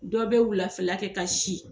Dɔw bɛ wulafɛ kɛ ka si.